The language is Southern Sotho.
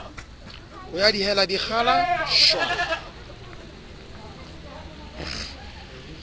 ho ya dihela dikgala sware